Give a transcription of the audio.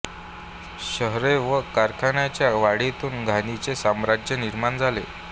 शहरे व कारखान्यांच्या वाढीतून घाणीचे साम्राज्य निर्माण झाले